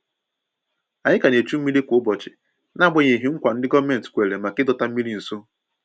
Ànyị ka ná echu mmiri kwa ụbọchị n'agbanyeghị nkwa ndi gọọmenti kwèrè maka ịdọta mmiri nso